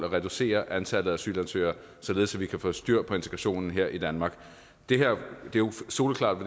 at reducere antallet af asylansøgere således at vi kan få styr på integrationen her i danmark det er jo soleklart